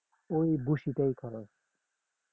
ওই ভুসিটাই খরচ